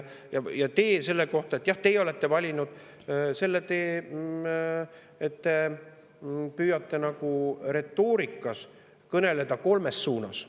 Jah, teie olete valinud selle tee, et te püüate retoorikas kõneleda nagu kolmes suunas.